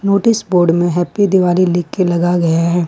Notice board में happy Diwali लिखके लगा गया है।